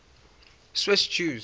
swiss jews